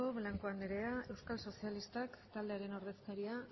blanco anderea euskal sozialistak taldearen ordezkaria